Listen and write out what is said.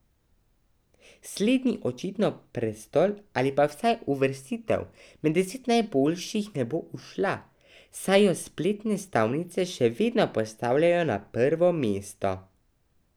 Slednji očitno prestol ali pa vsaj uvrstitev med deset najboljših ne bo ušla, saj jo spletne stavnice še vedno postavljajo na prvo mesto.